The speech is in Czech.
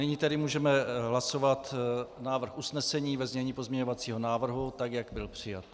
Nyní tedy můžeme hlasovat návrh usnesení ve znění pozměňovacího návrhu tak, jak byl přijat.